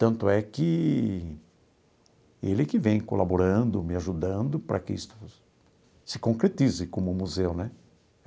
Tanto é que... Ele que vem colaborando, me ajudando para que isto se concretize como um museu, né?